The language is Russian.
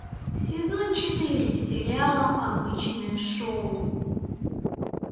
сезон четыре сериала обычное шоу